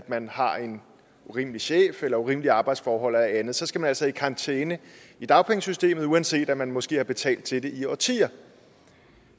man har en urimelig chef eller urimelige arbejdsforhold eller andet så skal man altså i karantæne i dagpengesystemet uanset om man måske har betalt til det i årtier